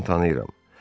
Deyəsən tanıyıram.